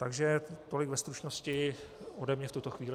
Takže tolik ve stručnosti ode mne v tuto chvíli.